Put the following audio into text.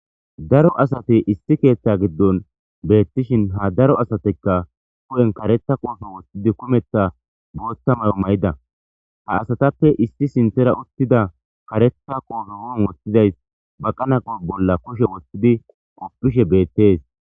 Daro asati issi keeththa gidoni betishini ha asatikka hupheni kareththa qoppe woththidinne kumeththa botha mayo mayida ha asatappe issi sinththara uttida kareetha qoppe hupheni woththidayis baqana bola kushe woththidi qofidhshe beettesi